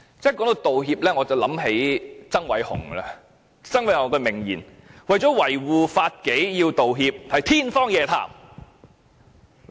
說到道歉，我便想起曾偉雄，他有一句名言，說警察如果為了維護法紀而要道歉，是天方夜譚。